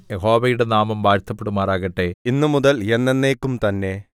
യഹോവയുടെ നാമം വാഴ്ത്തപ്പെടുമാറാകട്ടെ ഇന്നുമുതൽ എന്നെന്നേക്കും തന്നെ